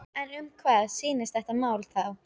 En um hvað snýst þetta mál þá?